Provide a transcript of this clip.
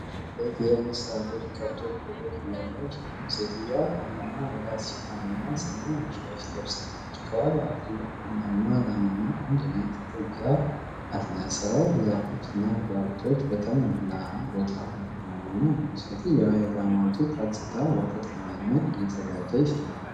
አንዲት ሴት የንስሳቶቿን ከብቶች ወተት እያለበች ነው። ሴትዮዋ ጨለማ የራስ ሸፋንና ሰማያዊ ሻሽ ለብሳለች። ከኋላዋ ትልቅ ቡናማ ላምና አንድ ነጭ ጥጃ አለ። ስራው በዛፎችና ቁጥቋጦች በተሞላ ቦታ እየተከናወነ ነው። ሴትየዋ የላሟን ጡት አጽድታ ወተት ለመጭመቅ እየተዘጋጀች ነው።